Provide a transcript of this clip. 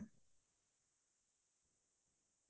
ভাল লাগিছিলে